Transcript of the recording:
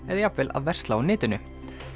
eða jafnvel að versla á netinu